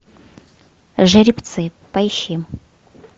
жеребцы поищи